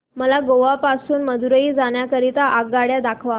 मला गोवा पासून मदुरई जाण्या करीता आगगाड्या दाखवा